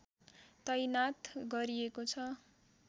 तैनाथ गरिएको छ